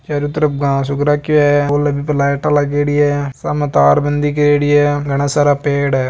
चारो तरफ घास उग राख्यो है पोल है बीपे लाइट लागेड़ी है सामे तारबंदी करेड़ी है घना सारा पेड़ है।